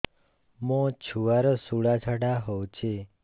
ମୋ ଛୁଆର ସୁଳା ଝାଡ଼ା ହଉଚି